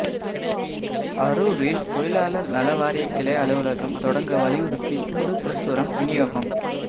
அரூரில் தொழிலாளா் நல வாரிய கிளை அலுவலகம் தொடங்க வலியுறுத்தி துண்டு பிரசுரம் விநியோகம்